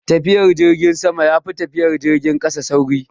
Tafiyan jirgin sama yafi tafiyan jirgin kasa sauri